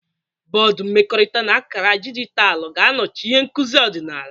Bọdụ mmekọrịta na akara dijitalụ ga-anọchi ihe nkuzi ọdịnala.